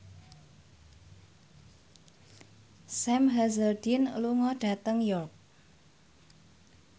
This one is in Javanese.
Sam Hazeldine lunga dhateng York